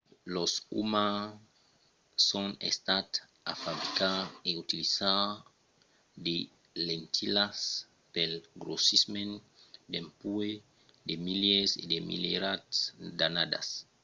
los umans son estats a fabricar e utilizar de lentilhas pel grossiment dempuèi de milièrs e de milierats d'annadas